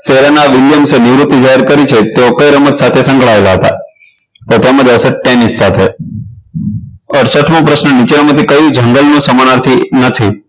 શહેરોના યુરોપી જાહેર કરી છે તો કઈ રમત સાથે સંકળાયેલા હતા તો તેમાં આવશે ટેનિસ સાથે અડસઠ મો પ્રશ્ન નીચેનામાંથી કયું જંગલ નો સમાનાર્થી નથી